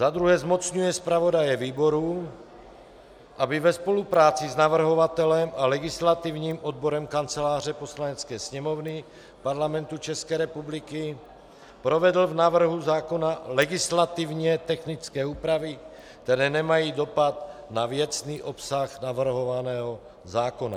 Za druhé zmocňuje zpravodaje výboru, aby ve spolupráci s navrhovatelem a legislativním odborem Kanceláře Poslanecké sněmovny Parlamentu České republiky provedl v návrhu zákona legislativně technické úpravy, které nemají dopad na věcný obsah navrhovaného zákona.